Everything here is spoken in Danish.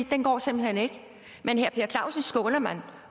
den går simpelt hen ikke men herre per clausen skåner man